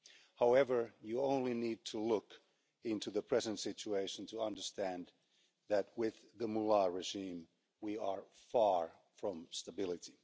However, you only need to look into the present situation to understand that, with the Mullah regime, we are far from stability.